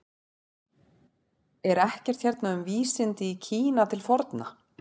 Er ekkert hérna um vísindi í Kína til forna?